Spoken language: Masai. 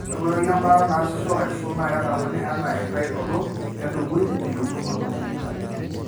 Ore enkoitoi embaata naasisho aisul naa kedamuni anaa enkitainoto entubui teyieng'unoto.